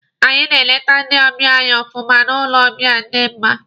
Anyị na-elete ndị ọbịa anyị ọfụma n'ụlọ ọbịa di mma.